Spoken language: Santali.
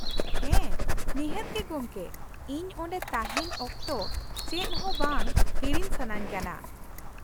ᱦᱮᱸ, ᱱᱤᱦᱟᱹᱛ ᱜᱮ ᱜᱚᱢᱠᱮ, ᱤᱧ ᱚᱸᱰᱮ ᱛᱟᱦᱮᱱ ᱚᱠᱛᱚ ᱪᱮᱫ ᱦᱚᱸ ᱵᱟᱝ ᱦᱤᱲᱤᱧ ᱥᱟᱹᱱᱟᱹᱧ ᱠᱟᱱᱟ ᱾